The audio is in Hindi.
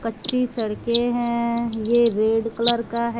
कच्ची सड़के हैं ये रेड कलर का है।